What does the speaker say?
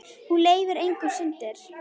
Hún leyfir engar syndir.